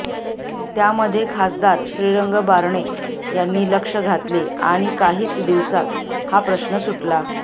त्यामध्ये खासदार श्रीरंग बारणे यांनी लक्ष घातले आणि काहीच दिवसात हा प्रश्न सुटला